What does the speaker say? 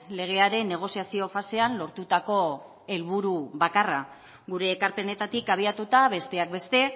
legearen negoziazio fasean lortutako helburu bakarra gure ekarpenetatik abiatuta besteak beste